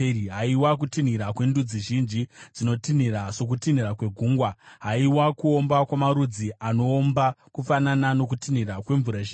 Haiwa, kutinhira kwendudzi zhinji, dzinotinhira sokutinhira kwegungwa! Haiwa, kuomba kwamarudzi anoomba kufanana nokutinhira kwemvura zhinji!